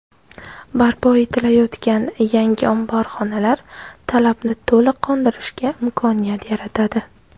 Barpo etilayotgan yangi omborxonalar talabni to‘liq qondirishga imkoniyat yaratadi.